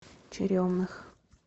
черемных